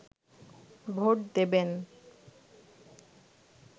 vote দেবেন